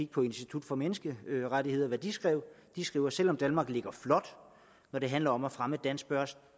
på institut for menneskerettigheder og det de skrev de skriver at selv om danmark ligger flot når det handler om at fremme danske